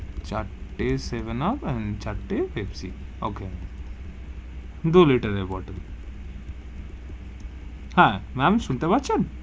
চার টে seven up, চার টে পেপসি okay দু liter এর bottle হা ma'am শুনতে পারছেন.